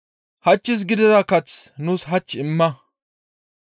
Hachchis gidiza kath nuus hach imma.